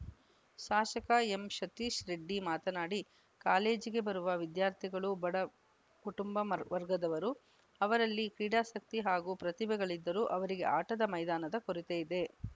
ಶಾಸಕ ಎಂಸತೀಶ್‌ ರೆಡ್ಡಿ ಮಾತನಾಡಿ ಕಾಲೇಜಿಗೆ ಬರುವ ವಿದ್ಯಾರ್ಥಿಗಳು ಬಡ ಕುಟುಂಬ ಮ ವರ್ಗದವರು ಅವರಲ್ಲಿ ಕ್ರೀಡಾಸಕ್ತಿ ಹಾಗೂ ಪ್ರತಿಭೆಗಳಿದ್ದರೂ ಅವರಿಗೆ ಆಟದ ಮೈದಾನದ ಕೊರತೆಯಿದೆ